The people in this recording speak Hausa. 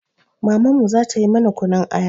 Mamanmu za ta yi mana kunun aya.